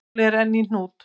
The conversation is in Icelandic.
Málið er enn í hnút.